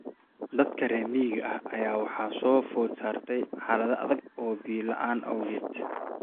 Dadka reer miyiga ah ayaa waxaa soo food saartay xaalad adag oo biyo la�aan awgeed.